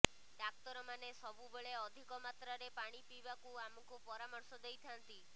ଡାକ୍ତରମାନେ ସବୁବେଳେ ଅଧିକ ମାତ୍ରାରେ ପାଣି ପଇବାକୁ ଆମକୁ ପରାମର୍ଶ ଦେଇଥାଆନ୍ତି